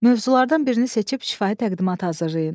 Mövzulardan birini seçib şifahi təqdimat hazırlayın.